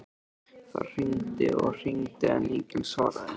Það hringdi og hringdi en enginn svaraði.